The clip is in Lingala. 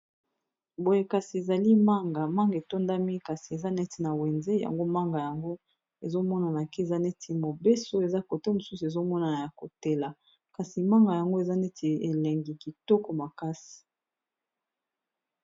Boye kasi ezali manga manga etondami kasi eza neti na wenze yango manga yango ezomonana kiza neti mobeso eza kote mosusu ezomonana ya kotela kasi manga yango eza neti elengi kitoko makasi